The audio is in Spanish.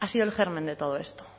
ha sido el germen de todo esto